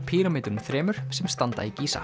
píramídunum þremur sem standa í